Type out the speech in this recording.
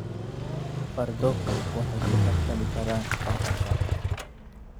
Fardoku waxay ku tartami karaan tartanka.